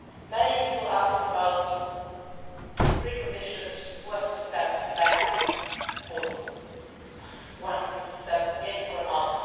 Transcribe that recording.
future. Many people ask about preconditions who has to step back or forwards, one step in